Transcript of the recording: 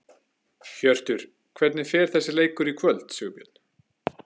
Hjörtur: Hvernig fer þessi leikur í kvöld, Sigurbjörn?